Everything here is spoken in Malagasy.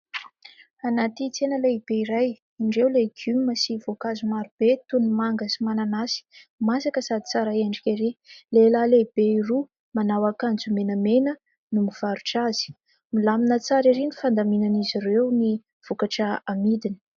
Anaty tsena lehibe iray, indreo legioma sy voankazo marobe toy ny manga sy mananasy masaka sady tsara endrika erỳ. Lehilahy lehibe roa manao akanjo menamena no mivarotra azy. Milamina tsara erỳ ny fandaminan'izy ireo ny vokatra amidiny.